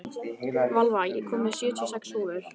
Valva, ég kom með sjötíu og sex húfur!